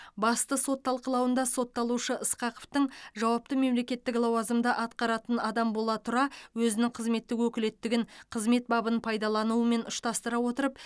басты сот талқылауында сотталушы ысқақовтың жауапты мемлекеттік лауазымды атқаратын адам бола тұра өзінің қызметтік өкілеттігін қызмет бабын пайдаланумен ұштастыра отырып